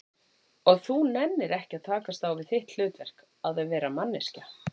Og þú nennir ekki að takast á við þitt hlutverk, að vera manneskja?